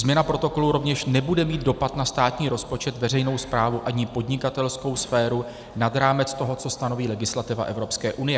Změna protokolu rovněž nebude mít dopad na státní rozpočet, veřejnou správu ani podnikatelskou sféru nad rámec toho, co stanoví legislativa Evropské unie.